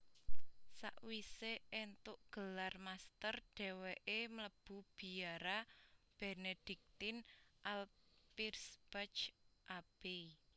Sakwisé éntuk gelar master déwéké mlebu biara Benediktin Alpirsbach Abbey